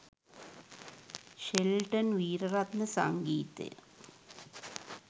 Shelton Weeraratne සංගීතය